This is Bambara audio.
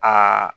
Aa